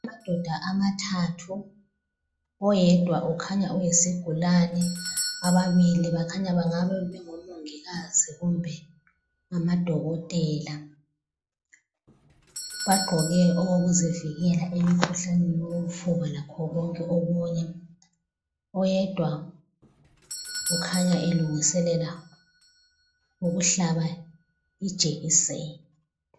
Amadoda amathathu oyedwa ukhanya oyisigulane ababili bakhanya bengabe bengomongikazi kumbe amadokotela. Bagqoke okokuzivikela emkhuhlaneni wofuba lakho konke okunye. Oyedwa ukhanya elungiselela ukuhlaba ijekiseni.